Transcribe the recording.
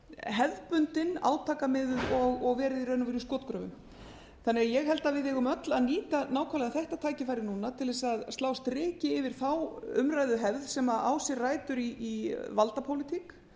hefðbundin átakamiðuð og verið í raun og veru í skotgröfum ég held því að við eigum öll að nýta nákvæmlega þetta tækifæri núna til þess að slá striki yfir þá umræðuhefð sem á sér rætur í valdapólitík